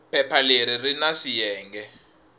phepha leri ri na swiyenge